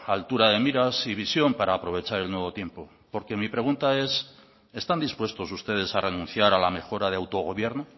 altura de miras y visión para aprovechar el nuevo tiempo porque mi pregunta es están dispuestos ustedes a renunciar a la mejora de autogobierno